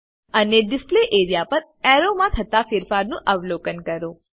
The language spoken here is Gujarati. અને ડિસ્પ્લે એરિયા પર એરોમા થતા ફેરફાર નું અવલોકન કરો